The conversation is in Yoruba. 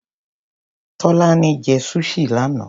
Tọ́lání jẹ́ Sushi lánàá.